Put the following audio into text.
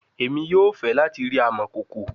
Emi yoo fẹ lati ri amọkoko